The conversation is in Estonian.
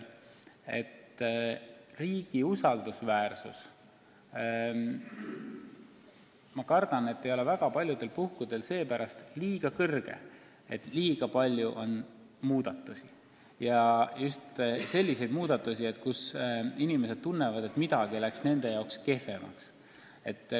Riigi usaldusväärsus, ma kardan, et ei ole väga paljudel puhkudel seepärast kuigi suur, et liiga palju on muudatusi ja just selliseid muudatusi, mille korral inimesed tunnevad, et midagi läks nende jaoks kehvemaks.